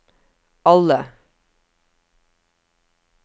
alle